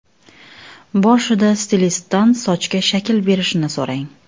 Boshida stilistdan sochga shakl berishni so‘rang.